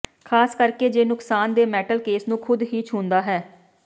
ਖ਼ਾਸ ਕਰਕੇ ਜੇ ਨੁਕਸਾਨ ਦੇ ਮੈਟਲ ਕੇਸ ਨੂੰ ਖੁਦ ਹੀ ਛੂੰਹਦਾ ਹੈ